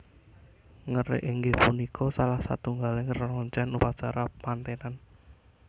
Ngerik inggih punika salah satunggaling reroncen upacara mantenan